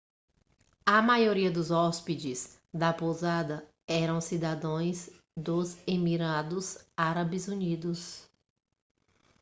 a maioria dos hóspedes da pousada eram cidadãos dos emirados árabes unidos